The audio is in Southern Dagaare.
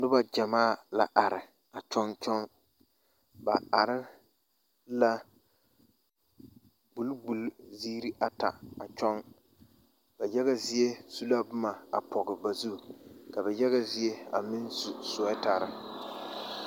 Noba ɡyamaa la are kyɔɡekyɔɡe ba are la ɡbuliɡbuli ziiri ata a kyɔɡe ba yaɡa zie su la boma a pɔɡe ba zu ka ba yaɡa zie a meŋ su suɛtare.